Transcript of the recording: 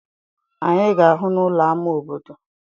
Anyị ga-ahụ n'ụlọ ámá obodo.